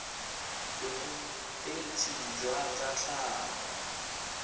bonetetshi jwa tsa tlhago tsa